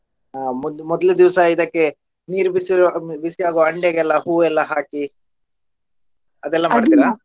ಆಹ್ ಮೊದ್ಲು ಮೊದ್ಲ್ನೆೇ ದಿವಸಾ ಇದಕ್ಕೆ ನೀರ್ ಬಿಸಿ ಆಗೋ ಹಂಡೆಗೆಲ್ಲ ಹೂವೆಲ್ಲಾ ಹಾಕಿ ಅದೆಲ್ಲ ಮಾಡ್ತೀರಾ?